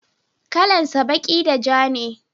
kalan sa baki da ja ne